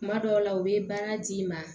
Kuma dɔw la u bɛ baara d'i ma